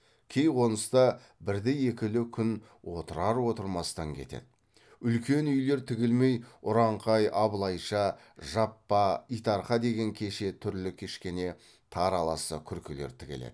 кей қоныста бірді екілі күн отырар отырмастан кетеді үлкен үйлер тігілмей ұраңқай абылайша жаппа итарқа деген кеше түрлі кішкене тар аласа күркелер тігіледі